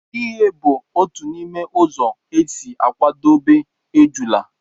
ighe bụ otu n'ime ụzọ e si akwadebe ejula